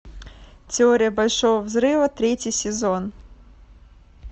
теория большого взрыва третий сезон